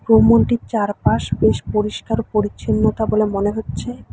ভবনটির চারপাশ বেশ পরিষ্কার পরিচ্ছন্নতা বলে মনে হচ্ছে।